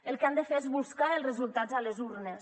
el que han de fer és buscar els resultats a les urnes